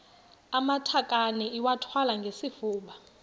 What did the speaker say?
amatakane iwathwale ngesifuba